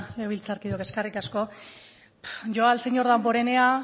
legebiltzarkideok eskerrik asko yo al señor damborenea